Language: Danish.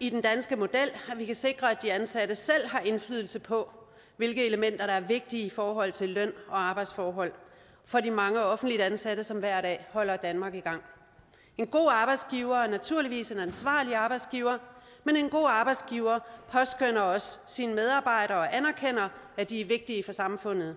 i den danske model at vi kan sikre at de ansatte selv har indflydelse på hvilke elementer der er vigtige i forhold til løn og arbejdsforhold for de mange offentligt ansatte som hver dag holder danmark i gang en god arbejdsgiver er naturligvis en ansvarlig arbejdsgiver men en god arbejdsgiver påskønner også sine medarbejdere og anerkender at de er vigtige for samfundet